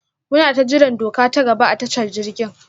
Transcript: munata jiran doka ta gaba a tashar jirgin.